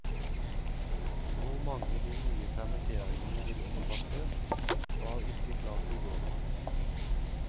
Hvor mange de nye permitteringene vil omfatte, var ikke klart i går.